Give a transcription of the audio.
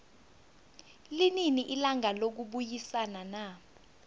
linini ilanga lokubayisana na